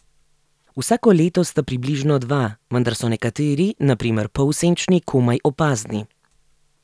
Vsako leto sta približno dva, vendar so nekateri, na primer polsenčni, komaj opazni.